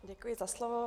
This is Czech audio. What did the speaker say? Děkuji za slovo.